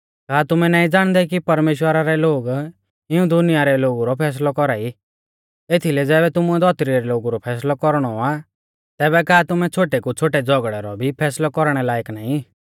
का तुमै नाईं ज़ाणदै कि परमेश्‍वरा रै लोग इऊं दुनिया रै लोगु रौ फैसलौ कौरा ई एथीलै ज़ैबै तुमुऐ धौतरी रै लोगु रौ फैसलौ कौरणौ आ तैबै का तुमै छ़ोटै कु छ़ोटै झ़ौगड़ै रौ भी फैसलै कौरणै लायक नाईं